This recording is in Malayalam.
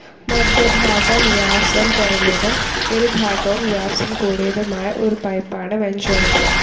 മദ്ധ്യ ഭാഗം വ്യാസം കുറഞ്ഞതും ഇരുഭാഗവും വ്യാസം കൂടിയതുമായ ഒരു പൈപ്പാണ് വെൻച്യുറി.